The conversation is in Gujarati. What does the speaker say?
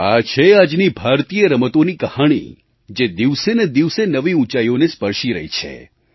આ છે આજની ભારતીય રમતોની કહાણી જે દિવસે ને દિવસે નવી ઊંચાઈઓને સ્પર્શી રહી છે